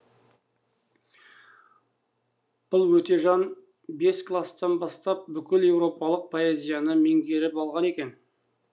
бұл өтежан бес кластан бастап бүкіл еуропалық поэзияны меңгеріп алған екен